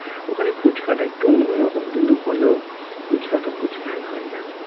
ওখানে ফুচকাটা একটু অন্য রকম কিন্তু হলেও ফুচকাটা ফুচকাই হয় না